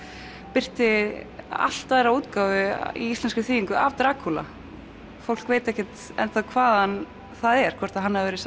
birti allt aðra útgáfu í íslenskri þýðingu af Drakúla fólk veit ekkert enn þá hvaðan það er hvort hann hafi verið